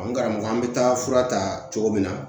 N karamɔgɔ an bɛ taa fura ta cogo min na